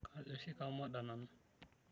kejo oshi kamoda nanu